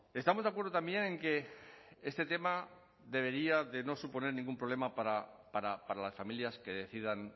estamos de acuerdo también en que este tema debería de no suponer ningún problema para las familias que decidan